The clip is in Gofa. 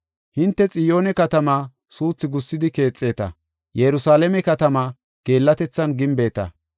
Hinte Xiyoone katamaa suuthi gussidi keexeta; Yerusalaame katamaa geellatethan gimbeta.